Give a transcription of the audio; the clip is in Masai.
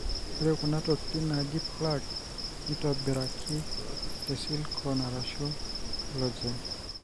ore kuna tokitin najii plugs nitobiraki te slicone arashu collagen.